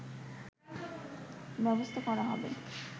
ব্যবস্থা করা হবে